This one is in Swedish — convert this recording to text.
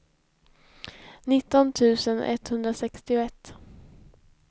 nitton tusen etthundrasextioett